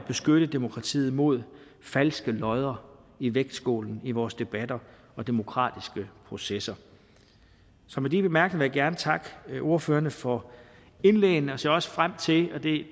beskytte demokratiet mod falske lodder i vægtskålen i vores debatter og demokratiske processer så med de bemærkninger vil jeg gerne takke ordførerne for indlæggene og ser også frem til og det